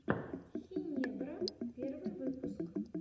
хинебро первый выпуск